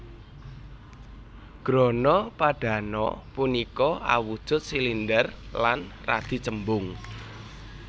Grana Padano punika awujud silinder lan radi cembung